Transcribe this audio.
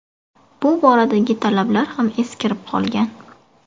Bu boradagi talablar ham eskirib qolgan.